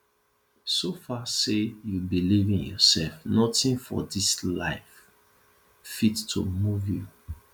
so far sey you believe in yourself nothing for dis life fit to move you